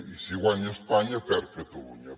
i si guanya espanya perd catalunya